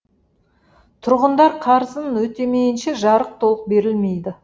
тұрғындар қарызын өтемейінше жарық толық берілмейді